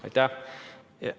Aitäh!